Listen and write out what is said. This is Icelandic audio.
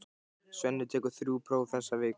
Svenni tekur þrjú próf þessa viku.